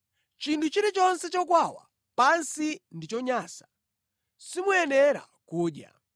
“ ‘Chinthu chilichonse chokwawa pansi ndi chonyansa, simuyenera kudya.